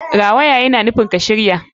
Rawaya yana nufin ka shirya.